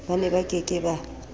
ba neba ke ke ba